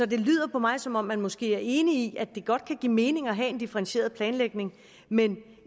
det lyder for mig som om man måske er enig i at det godt kan give mening at have en differentieret planlægning men